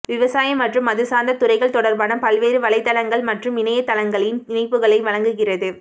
விவசாயம் மற்றும் அது சார்ந்த துறைகள் தொடர்பான பல்வேறு வலைத்தளங்கள் மற்றும் இணையதளங்களின் இணைப்புகளை வழங்குகிறது